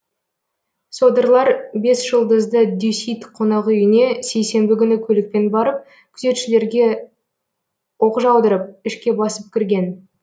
содырлар бесжұлдызды дюсит қонақүйіне сейсенбі күні көлікпен барып күзетшілерге оқ жаудырып ішке басып кірген